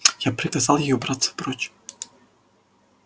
я приказал ей убраться прочь